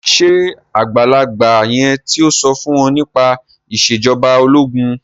ṣe àgbàlagbà yen tí so fún wón nípa Ìṣèjọba ológun?